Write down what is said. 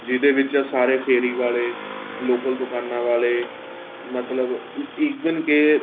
ਜਿਹਦੇ ਵਿੱਚ ਸਾਰੇ ਫੇਰੀਂ ਵਾਲੇ local ਦੁਕਾਨਾਂ ਵਾਲੇ ਮਤਲਬ even ਕੇ